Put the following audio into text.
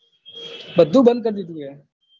બધું બંધ કરી દીધું હે